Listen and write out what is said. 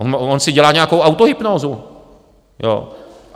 On si dělá nějakou autohypnózu, jo?